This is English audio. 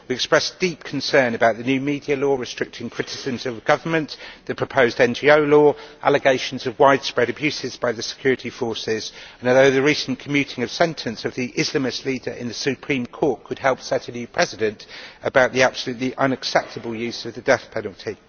We express deep concern about the new media law restricting criticism of the government, the proposed NGO law and allegations of widespread abuses by the security forces, although the recent commuting of sentence of the Islamist leader in the Supreme Court could help set a new precedent about the absolutely unacceptable use of the death penalty.